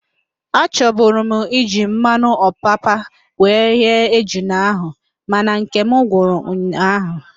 Achoburu m iji mmanụ opapa were ghee ejula ahụ mana nkem gwụrụ ụnyaahụ